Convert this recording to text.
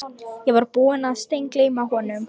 Ég var búinn að steingleyma honum